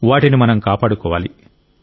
వాటిని మనం కాపాడుకోవాలి